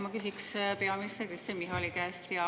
Ma küsin peaminister Kristen Michali käest.